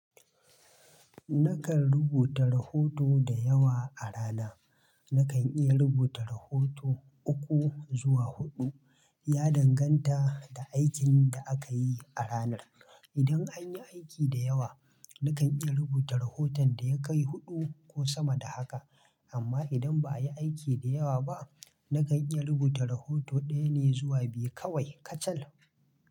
Nakan rubuta rahoto da yawa a rana. Na kan iya rubuta rahoto uku zuwa hudu, ya danganta da aikin da aka yi a ranar idan an yi aiki da yawa, nakan iya rubuta rahoton da ya kai huɗu ko sama da haka, amma idan ba a yi aiki da yawa ba, nakan iya rubuta rahoto ɗaya ne zuwa biyu kawai kacal.